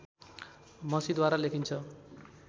मसीद्वारा लेखिन्छ